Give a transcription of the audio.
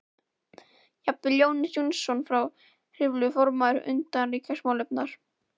Jafnvel Jónas Jónsson frá Hriflu, formaður utanríkismálanefndar